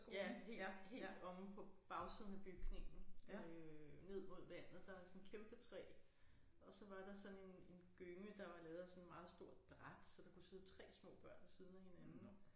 Ja helt helt omme på bagsiden af bygningen øh ned mod vandet der er sådan kæmpe træ og så var sådan en en gynge der var lavet af sådan meget stort bræt så der kunne sidde 3 små børn ved siden af hinanden